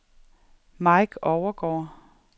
Mike Overgaard